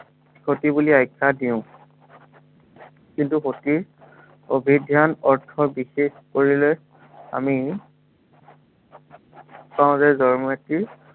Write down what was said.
সতী বুলি আখ্য়া দিও। কিন্তু সতীৰ, অভিধান অৰ্থ কৰিলে, আমি পাওঁ যে জয়মতীৰ